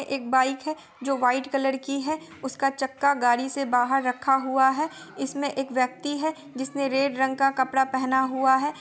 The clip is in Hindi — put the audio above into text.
ये एक बाइक है जो व्हाइट कलर की है| उसका चक्का गाड़ी से बाहर रखा हूआ है| इसमें एक व्यक्ति है जिसने रेड रंग का कपड़ा पहना हुआ है।